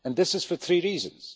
This is for three reasons.